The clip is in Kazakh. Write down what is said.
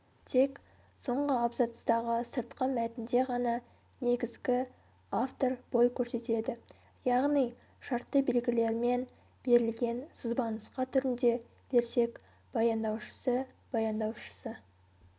тек соңғы абзацтағы сыртқы мәтінде ғана негізгі-автор бой көрсетеді яғни шартты белгілермен берілген сызбанұсқа түрінде берсек баяндаушысы баяндаушысы